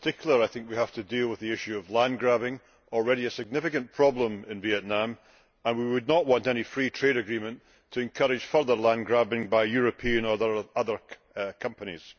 In particular, we have to deal with the issue of land grabbing, which is already a significant problem in Vietnam, and we would not want any free trade agreement to encourage further land grabbing by European or other companies.